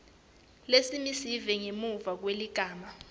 lesimisiwe ngemuva kweligama